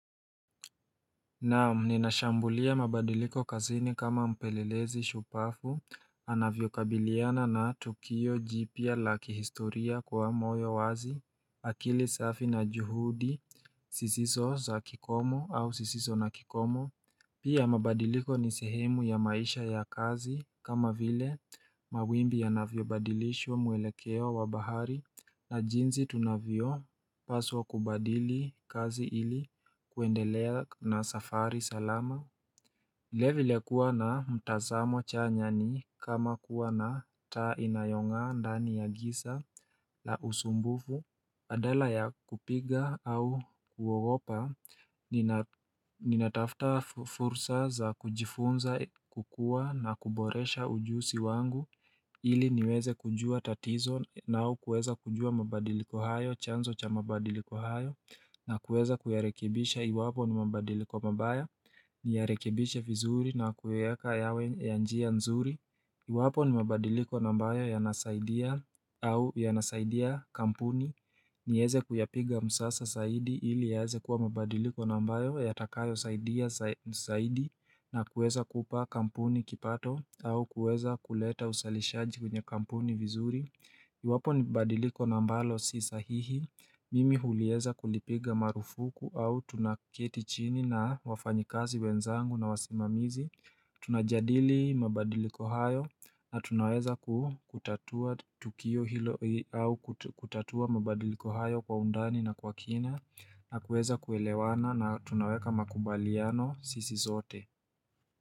Naam ninashambulia mabadiliko kazini kama mpelelezi shupafu, anavyo kabiliana na tukio jipya la kihistoria kwa moyo wazi, akili safi na juhudi, sisiso za kikomo au sisiso na kikomo. Pia mabadiliko ni sehemu ya maisha ya kazi kama vile mawimbi yanavyo badilishwo mwelekeo wa bahari na jinzi tunavio paswa kubadili kazi ili kuendelea na safari salama. Level ya kuwa na mtazamo chanya ni kama kuwa na taa inayo ngaa ndani ya gisa na usumbufu. Badala ya kupiga au kuogopa, ninatafta fursa za kujifunza kukua na kuboresha ujusi wangu. Ili niweze kujua tatizo na au kueza kujua mabadiliko hayo, chanzo cha mabadiliko hayo. Na kueza kuyarekebisha iwapo ni mabadiliko mabaya, niyarekebishe vizuri na kueka yawe ya njia nzuri. Iwapo ni mabadiliko na ambayo ya nasaidia kampuni. Nieze kuyapiga msasa saidi ili yaze kuwa mabadiliko na ambayo ya takayo saidia na kueza kupa kampuni kipato au kueza kuleta usalishaji kwenye kampuni vizuri. Iwapo ni badiliko na ambalo si sahihi. Mimi hulieza kulipiga marufuku au tunaketi chini na wafanyikazi wenzangu na wasimamizi. Tunajadili mabadiliko hayo na tunaweza kutatua tukio hilo au kutatua mabadiliko hayo kwa undani na kwa kina na kueza kuelewana na tunaweka makubaliano sisi sote.